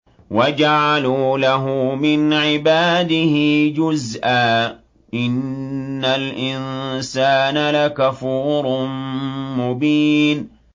وَجَعَلُوا لَهُ مِنْ عِبَادِهِ جُزْءًا ۚ إِنَّ الْإِنسَانَ لَكَفُورٌ مُّبِينٌ